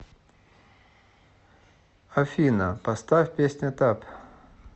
афина поставь песня тап